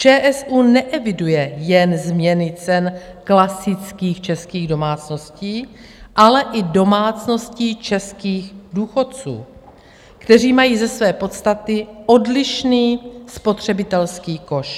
ČSÚ neeviduje jen změny cen klasických českých domácností, ale i domácností českých důchodců, kteří mají ze své podstaty odlišný spotřebitelský koš.